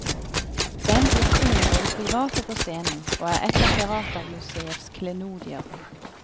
Den brukte hun både privat og på scenen, og er et av teatermuseets klenodier.